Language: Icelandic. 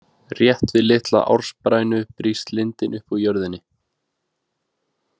Rétt við litla ársprænu brýst lindin upp úr jörðinni.